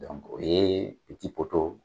o ye